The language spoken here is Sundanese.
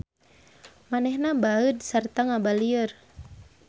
Manehna baeud sarta ngabalieur